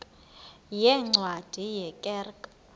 yeencwadi ye kerk